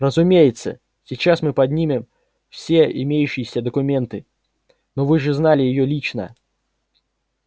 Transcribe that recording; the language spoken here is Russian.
разумеется сейчас мы поднимем все имеющиеся документы но вы же знали её лично